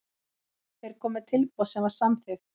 Þeir komu með tilboð sem var samþykkt.